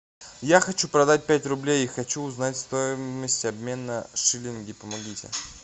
я хочу продать пять рублей и хочу узнать стоимость обмена шиллинги помогите